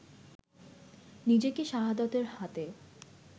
নিজেকে শাহাদতের হাতে